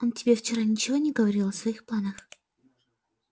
он тебе вчера ничего не говорил о своих планах